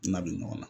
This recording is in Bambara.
Na don ɲɔgɔn na